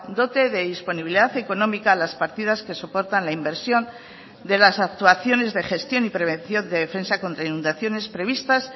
dote de disponibilidad económica las partidas que soportan la inversión de las actuaciones de gestión y prevención de defensa contra inundaciones previstas